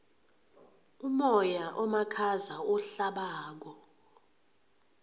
umoya omakhaza ohlabako